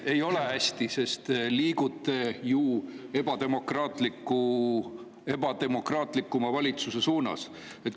Ei ole hästi, sest te liigute ju ebademokraatlikuma valitsuse suunas.